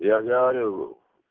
я же говорю